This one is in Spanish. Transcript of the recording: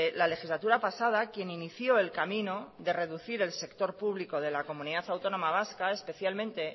la legislatura pasada quien inició el camino de reducir el sector público de la comunidad autónoma vasca especialmente